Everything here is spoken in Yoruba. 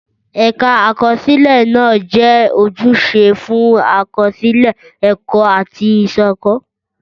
Ẹ̀ka Àkọsílẹ̀ náà jẹ́ ojúṣe fún àkọsílẹ̀ ẹ̀kọ́ àti ìṣàkóso.